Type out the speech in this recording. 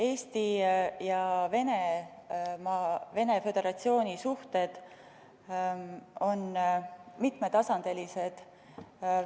Eesti ja Venemaa Föderatsiooni suhted on mitmetasandilised.